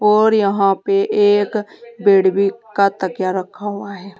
और यहां पे एक बेड भी का तकिया रखा हुआ है।